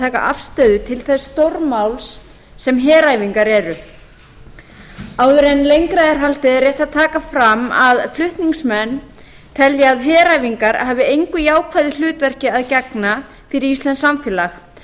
taka afstöðu til þess stórmáls sem heræfingar eru áður en lengra er haldið er rétt að taka fram að flutningsmenn telja að heræfingar hafi engu jákvæðu hlutverki að gegna fyrir íslenskt samfélag